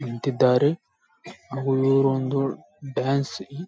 ನಿಂತಿದ್ದಾರೆ ಅವರು ಒಂದು ಡಾನ್ಸ್ --